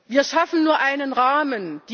Wir schaffen nur einen Rahmen.